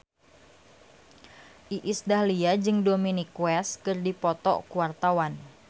Iis Dahlia jeung Dominic West keur dipoto ku wartawan